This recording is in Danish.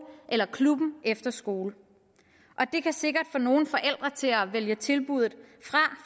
eller klubben efter skole og det kan sikkert få nogle forældre til at vælge tilbuddet fra